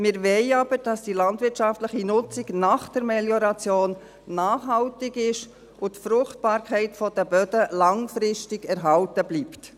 Wir wollen aber, dass die landwirtschaftliche Nutzung nach der Melioration nachhaltig ist und die Fruchtbarkeit der Böden langfristig erhalten bleibt.